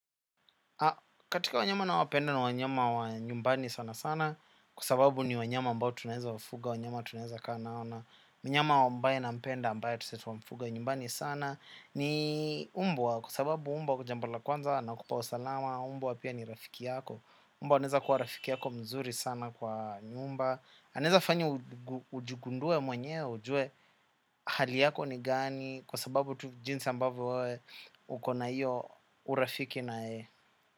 Katika wanyama nawapenda ni wanyama wa nyumbani sana sana kwa sababu ni wanyama ambao tunaweza wafuga. Wanyama tunaweza kaa nao na mnyama ambaye nampenda ambayo tusetuwa mfuga nyumbani sana ni umbwa kwa sababu umbwa kwa jambo la kwanza. Nakupa usalama. Umbwa pia ni rafiki yako. Umbwa anaweza kuwa rafiki yako mzuri sana kwa nyumba anaweza fanya ujigundue mwenye ujue. Hali yako ni gani. Kwa sababu jinsi ambavyo wewe uko na hiyo urafiki na yeye.